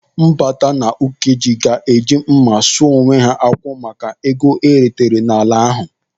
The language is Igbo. Mbata na Ukeje ga-eji mma sụọ onwe ha akwụ maka ego eretere n'ala ahụ.